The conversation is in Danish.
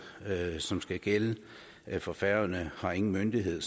som skal gælde for færøerne har ingen myndighed